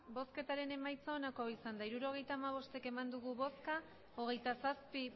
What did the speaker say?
emandako botoak hirurogeita hamabost bai hogeita zazpi